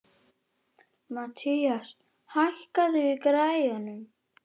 Mathías, hækkaðu í græjunum.